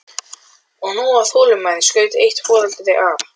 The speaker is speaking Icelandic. Hnettirnir voru daufari en ekki alveg horfnir.